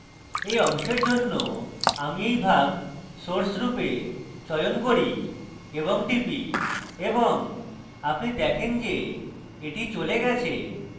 এই অংশের জন্য আমি এই ভাগ source রূপে চয়ন করি এবং টিপি এবং আপনি দেখেন যে এটি চলে গেছে